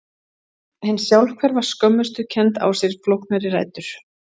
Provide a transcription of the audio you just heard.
hin sjálfhverfa skömmustukennd á sér flóknari rætur